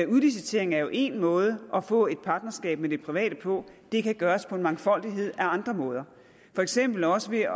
udlicitering er jo én måde at få et partnerskab med det private på og det kan gøres på en mangfoldighed af andre måder for eksempel også ved